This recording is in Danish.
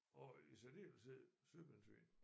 Og i særdeleshed søpindsvin